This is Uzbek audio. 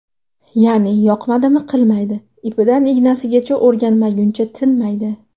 Ya’ni yoqmadimi qilmaydi, ipidan ignasigacha o‘rganmaguncha tinmaydi.